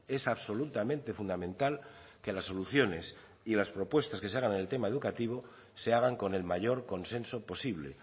es absolutamente fundamental que las soluciones y las propuestas que se hagan en el tema educativo se hagan con el mayor consenso posible